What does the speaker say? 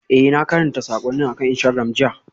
Ee, na karanta saƙonnin akan Instagram jiya.